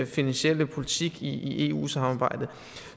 finansielle politik i eu samarbejdet